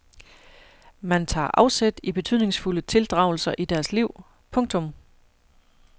Man tager afsæt i betydningsfulde tildragelser i deres liv. punktum